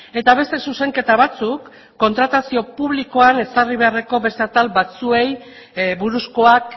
eta beste zuzenketa batzuk kontratazio publikoan ezarri beharreko beste atal batzuei buruzkoak